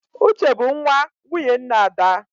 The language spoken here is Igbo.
Uche bụ nwa nwunye nna Ada